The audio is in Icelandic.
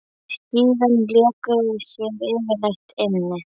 Síðan léku þau sér yfirleitt inni.